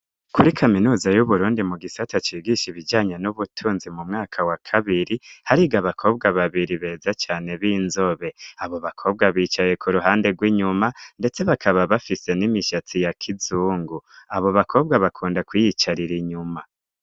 kuri kaminuza y'uburundi mu gisa atacigisha ibijanye n'ubutunzi mu mwaka wa kabiri harigo bakobwa babiri beza cane b'inzobe abo bakobwa bicaye ku ruhande rw'inyuma ndetse bakaba bafise n'imishyatsi ya kizungu abo bakobwa bakunda kuyicarira inyuma